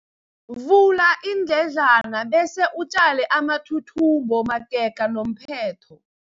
Vula iindledlana bese utjale amathuthumbo magega nomphetho.